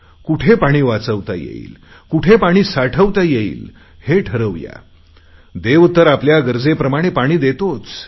कुठे पाणी वाचवता येईल कुठे पाणी साठवता येईल हे ठरवूया देव तर आपल्या गरजेप्रमाणे पाणी देतोच